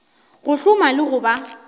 go hloma le go ba